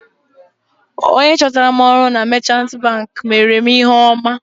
Onye chọtara m ọrụ na meechanti banki meere mụ ihe ọma.